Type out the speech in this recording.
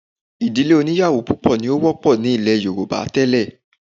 Ìdílé oníyàwó púpọ̀ ni ó wọ́pọ̀ ní ilẹ̀ Yorùbá tẹ́lẹ̀